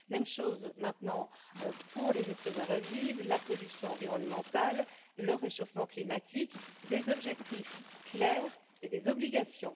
Même chose maintenant pour les espèces invasives la pollution environnementale, le réchauffement climatique, des objectifs clairs et des obligations.